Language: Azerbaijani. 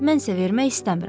Mən isə vermək istəmirəm.